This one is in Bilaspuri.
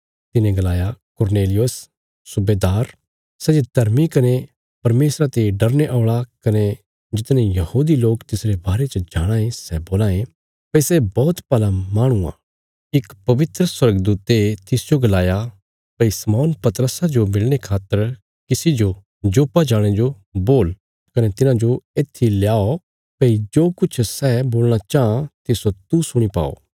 तिने गलाया कुरनेलियुस सुबेदार सै जे धर्मी कने परमेशरा ते डरने औल़ा कने जितने यहूदी लोक तिसरे बारे च जाणाँ ये सै बोलां ये भई सै बौहत भला माहणु आ इक पवित्र स्वर्गदूते तिसजो गलाया भई शम्मौन पतरसा जो मिलणे खातर किसी जो जोप्पा जाणे जो बोल कने तिन्हांजो येत्थी ल्याव भई जो किछ सै बोलणा चाँह तिस्सो तू सुणी पाओ